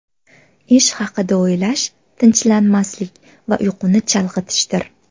Ish haqida o‘ylash tinchlanmaslik va uyquni chalg‘itishdir.